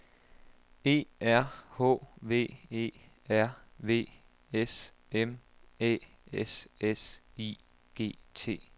E R H V E R V S M Æ S S I G T